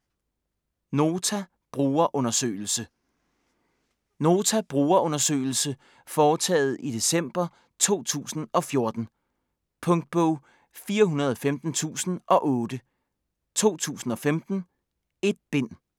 Nota brugerundersøgelse Nota brugerundersøgelse foretaget i december 2014. Punktbog 415008 2015. 1 bind.